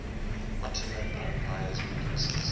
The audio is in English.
ottoman empire's weaknesses